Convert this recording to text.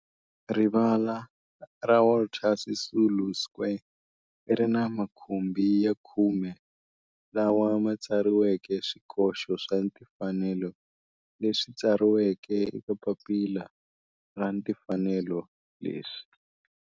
Rivala ra Walter Sisulu Square ri ni makhumbi ya khume lawa ma tsariweke swikoxo swa timfanelo leswi tsariweke eka papila ra timfanelo leswi.